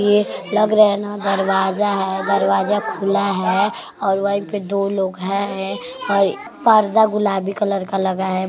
ये लग रहे है न दरवाजा है दरवाजा खुला है और वही पे दो लोग हे और पर्दा गुलाबी कलर का लगा है।